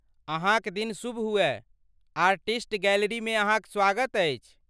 अहाँक दिन शुभ हुअय, आर्टिस्ट गैलरिमे अहाँक स्वागत अछि!